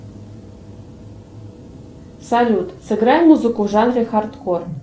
салют сыграй музыку в жанре хардкор